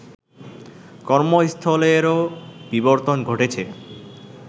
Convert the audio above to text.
কর্মস্থলেরও বিবর্তন ঘটেছে